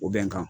O bɛnkan